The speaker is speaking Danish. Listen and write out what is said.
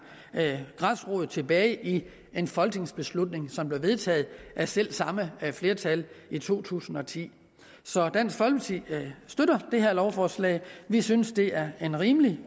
rod tilbage i en folketingsbeslutning som blev vedtaget af selv samme flertal i to tusind og ti så dansk folkeparti støtter det her lovforslag vi synes det er en rimelig